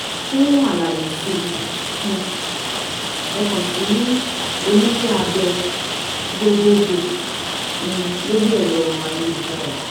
Fún àlàyé sí um ẹ kàn sí oníṣẹ́ abẹ gbogboogbò um lórí ẹ̀rọ ayélujára